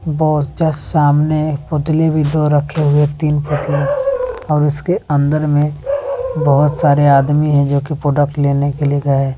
और जस्ट सामने पुतले भी दो रखे हुए तीन पुतले और उसके अंदर में बहुत सारे आदमी हैं जो कि प्रोडक्ट लेने के लिए गए।